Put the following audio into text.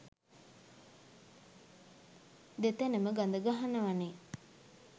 දෙතැනම ගඳ ගහනවනේ